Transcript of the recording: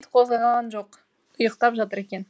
қозғалған жоқ ұйықтап жатыр екен